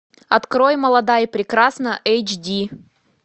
открой молода и прекрасна эйч ди